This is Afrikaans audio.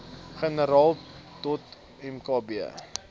generaal dot mkb